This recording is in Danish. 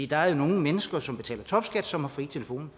der er jo nogle mennesker som betaler topskat som har fri telefon